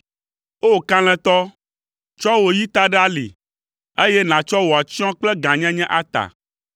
O! Kalẽtɔ, tsɔ wò yi ta ɖe ali, eye nàtsɔ wò atsyɔ̃ kple gãnyenye ata.